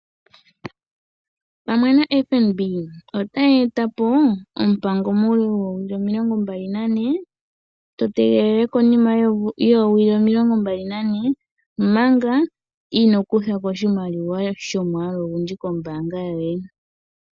Ombaanga FNB, otayi etapo ompango muule woo wili 24,to tegelele konima yoo wili 24 manga inoo kutha ko oshimaliwa sho mwaalu ogundji kombaanga yoye.